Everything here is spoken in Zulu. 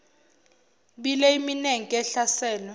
bile iminenke ehlaselwe